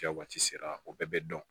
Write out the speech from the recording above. Kɛ waati sera o bɛɛ bɛ dɔn